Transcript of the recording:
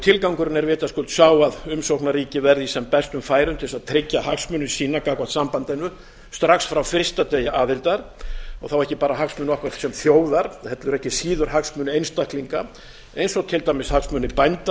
tilgangurinn er vitaskuld sá að umsóknarríki verði í sem bestum færum til þess að tryggja hagsmuni sína gagnvart sambandinu strax frá fyrsta degi aðildar og þá ekki bara hagsmuni okkar sem þjóðar heldur ekki síður hagsmuni einstaklinga eins og til dæmis hagsmuni bænda